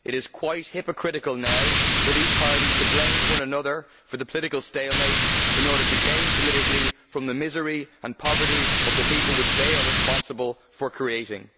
It is quite hypocritical now for these parties to blame one another for the political stalemate in order to gain politically from the people's misery and poverty, which they are responsible for creating.